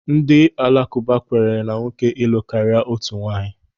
Ndị alakụba kwenyere na nwoke ịlụ karịa otu nwaanyị.